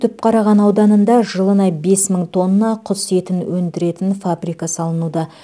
түпқараған ауданында жылына бес мың тонна құс етін өндіретін фабрика салынуда